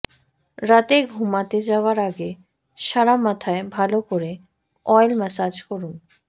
রাতে ঘুমোতে যাওয়ার আগে সারা মাথায় ভাল করে অয়েল ম্যাসাজ করুন